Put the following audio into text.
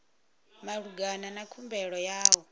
malugana na khumbelo ya u